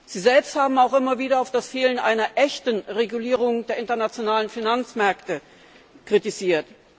Sie selbst haben auch immer wieder das Fehlen einer echten Regulierung der internationalen Finanzmärkte kritisiert.